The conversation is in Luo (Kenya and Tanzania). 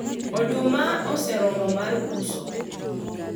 oduma oseromo mar uso